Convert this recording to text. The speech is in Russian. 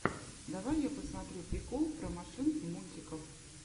давай я посмотрю прикол про машинки мультиков